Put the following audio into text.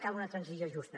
cal una transició justa